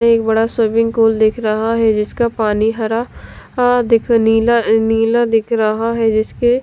एक बड़ा swimming pool दिख रहा है जिसका पानी हरा दिख नीला नीला दिख रहा है जिसके --